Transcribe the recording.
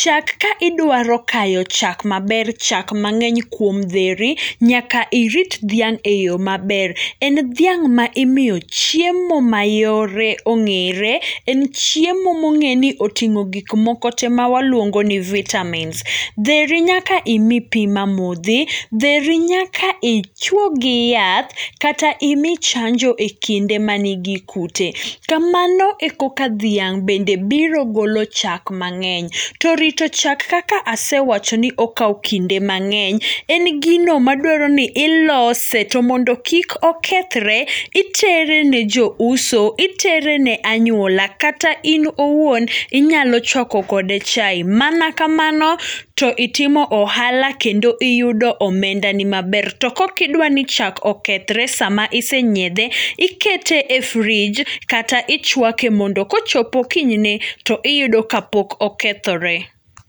Chak kaidwaro kayo chak maber, chak mang'eny kuom dheri, nyaka irit dhiang' e yo maber. En dhiang' maimiyo chiemo mayore ong'ere, en chiemo mong'eni oting'o gikmoko te mawaluongoni vitamins. Dheri nyaka imi pii mamodhi, dheri nyaka ichuogi yath, kata imi chanjo e kinde manigi kute. Kamano e koka dhiang' bende biro golo chak mang'eny. To rito chak kaka asewachoni okao kinde mang'eny, en gino madwaroni ilose, tomondo kik okethre, iterene jouso, iterene anyuola, kata in owuon inyalo chuako kode chai, mana kamano to itimo ohala, kendo iyudo omendani maber. To kokidwani chak okethre sama isenyiethe, ikete e [csfridge, kata ichuake mondo kochopo kinyne to iyudo kapok okethore.